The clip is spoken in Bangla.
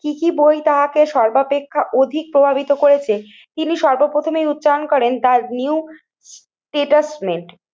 কি কি বই তাহাকে সর্বাপেক্ষা অধিক প্রভাবিত করেছে তিনি সর্ব প্রথমেই উচ্চারণ করেন তার নিউ স্ট্যাটাসমেন্ত